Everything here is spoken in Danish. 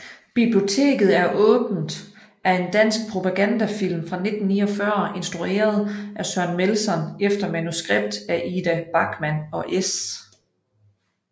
Biblioteket er åbent er en dansk propagandafilm fra 1949 instrueret af Søren Melson efter manuskript af Ida Bachmann og S